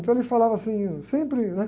Então ele falava assim, sempre, né?